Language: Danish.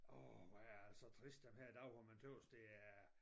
Årh hvor er jeg altså trist den her dag hvor man tys det er